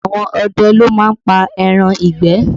Àwọn ọdẹ ló má ń pa ẹran ìgbẹ́